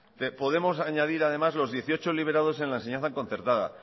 podemos añadir además los dieciocho liberados en la enseñanza concertada